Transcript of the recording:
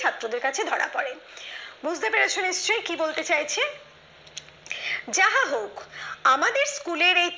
ছাত্রদের কাছে ধরা পড়ে বুঝতেই পারছ নিশ্চয়ই কি বলতে চাইছি যাহা হোক আমাদের স্কুলের এই